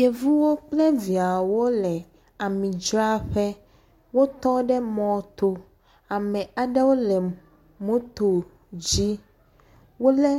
Yevu kple viawo le amidzraƒe. Wotɔ ɖe mɔto. Ame aɖewo le motu dzi. Wole